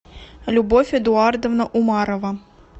любовь эдуардовна умарова